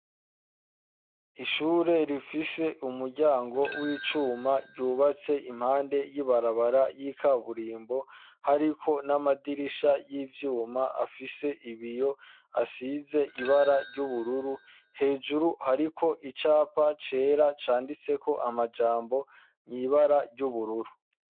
Ishure rifise umuryango w'ivyuma ryubatse impande y'ibarabara y'ikaburimbo hariko n'amadirisha y'ivyuma afise ibiyo asize ibara ry'ubururu hejuru hariko icapa cera canditse ko amajambo nyibara ry'ubururu.